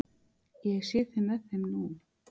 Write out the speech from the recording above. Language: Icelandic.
Ég sé þig með þeim nú.